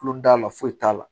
Kulon t'a la foyi t'a la